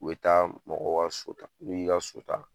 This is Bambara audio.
U bɛ taa mɔgɔw ka so ta n'u y'i ka so ta